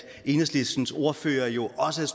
enhedslistens ordfører jo også er